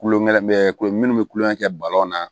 Kulonkɛ kulo minnu bɛ kulonkɛ kɛ balon na